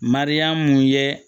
Mariyamu ye